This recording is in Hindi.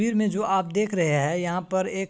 तस्वीर मे जो आप देख रहे है यहाँ पर एक --